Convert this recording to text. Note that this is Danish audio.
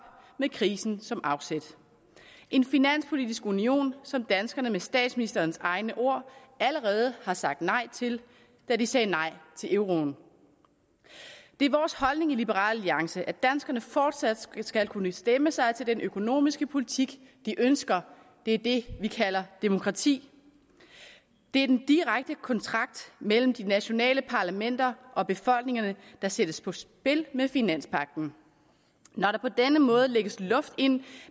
med krisen som afsæt en finanspolitisk union som danskerne med statsministerens egne ord allerede har sagt nej til da de sagde nej til euroen det er vores holdning i liberal alliance at danskerne fortsat skal kunne stemme sig til den økonomiske politik de ønsker det er det vi kalder demokrati det er den direkte kontrakt mellem de nationale parlamenter og befolkningerne der sættes på spil med finanspagten når der på denne måde lægges luft ind